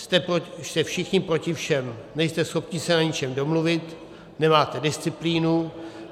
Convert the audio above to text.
Jste všichni proti všem, nejste schopni se na ničem domluvit, nemáte disciplínu.